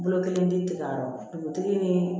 Bolo kelen di ka dugutigi ni